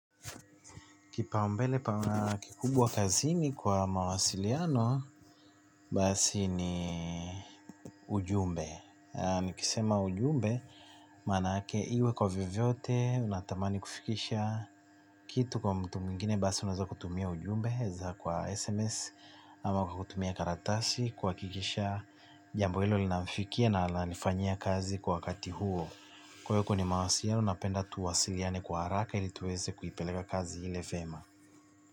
Kipao mbele pa kikubwa kazini kwa mawasiliano, basi ni ujumbe. Nikisema ujumbe, maana ake iwe kwa vivyovyote, natamani kufikisha kitu kwa mtu mwingine, basi unaeza kutumia ujumbe, za kwa SMS ama kwa kutumia karatasi kuhakikisha jambo hilo linamfikia na la nifanyia kazi kwa wakati huo. Kwa kuwa ni mawasiliano, napenda tuwasiliane kwa haraka ili tuweze kuipeleka kazi ile vyema.